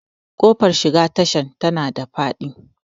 Ƙofar shiga tashan tana da faɗi